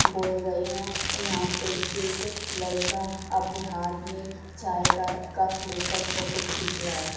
बोए गए हैं और यहां पे एक लड़का अपने हाथ में चाय का कप फोटो खींच रहा है।